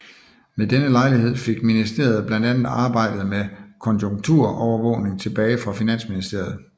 Ved denne lejlighed fik ministeriet blandt andet arbejdet med konjunkturovervågning tilbage fra Finansministeriet